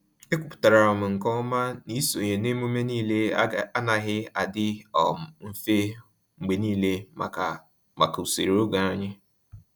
Ekwupụtara m nke ọma na isonye na emume niile anaghị adị um mfe mgbe niile maka maka usoro oge anyị.